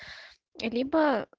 либо